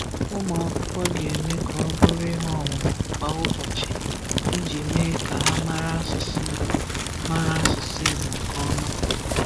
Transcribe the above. Ụmụakwụkwọ ga-eme ka ọ bụrụ ihe ọmụmụ kwa ụbọchị iji mee ka ha mara asụsụ Igbo mara asụsụ Igbo nke ọma.